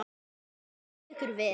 Þið hafið staðið ykkur vel.